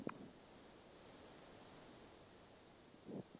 Waa in aan la dhayalsan doorka waalidka ee waxbarashada.